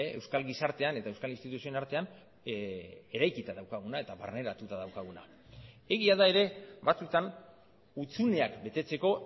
euskal gizartean eta euskal instituzioen artean eraikita daukaguna eta barneratuta daukaguna egia da ere batzutan hutsuneak betetzeko